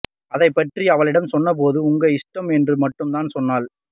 அதைப்பற்றி அவளிடம் சொன்ன போது உங்க இஷ்டம் என்று மட்டும் தான் சொன்னாள்